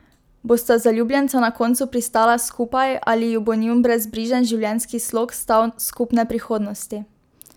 Bosta zaljubljenca na koncu pristala skupaj ali ju bo njun brezbrižen življenjski slog stal skupne prihodnosti?